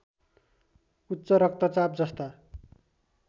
उच्च रक्तचाप जस्ता